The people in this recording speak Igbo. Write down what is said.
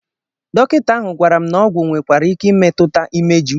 Dọkịta ahụ gwara m na ọgwụ nwekwara ike imetụta imeju